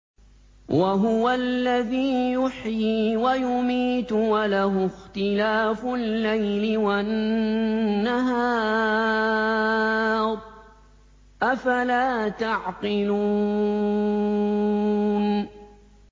وَهُوَ الَّذِي يُحْيِي وَيُمِيتُ وَلَهُ اخْتِلَافُ اللَّيْلِ وَالنَّهَارِ ۚ أَفَلَا تَعْقِلُونَ